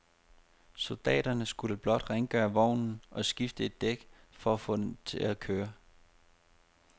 Soldaterne skulle blot rengøre vognen og skifte et dæk for at få den til at køre.